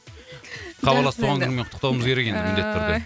хабарласып туған күнімен құттықтауымыз керек енді міндетті түрде